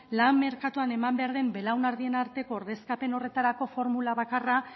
lan merkatuan eman behar den belaunaldien arteko ordezkapen horretarako formula bakarra